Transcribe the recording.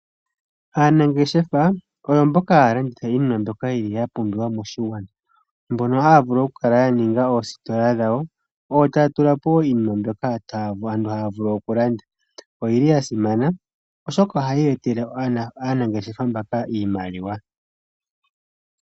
Aanangeshefa oyo mboka haya landitha iinima mbyoka ya pumbiwa moshigwana. Mbono haya vulu okukala ya ninga oositola dhayo, yo taya tulapo wo iinima mbyoka aantu haya vulu okulanda. Oyili ya simana, oshoka ohaya etele aanangeshefa mbaka iimaliwa.